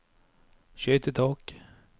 skøytetak